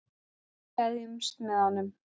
Við gleðjumst með honum.